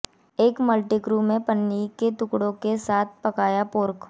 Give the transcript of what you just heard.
एक मल्टीक्रू में पन्नी के टुकड़े के साथ पकाया पोर्क